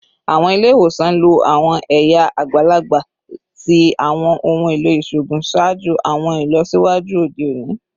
Awọn ile-iwosan lo awọn ẹya agbalagba ti awọn ohun elo iṣoogun ṣaaju awọn ilọsiwaju ode oni